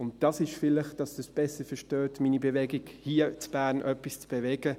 Dies ist – damit Sie es besser verstehen – mein Beweggrund, um hier in Bern etwas zu bewegen.